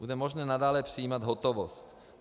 Bude možné nadále přijímat hotovost.